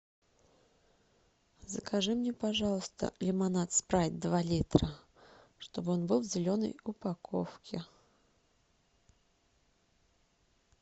закажи мне пожалуйста лимонад спрайт два литра чтобы он был в зеленой упаковке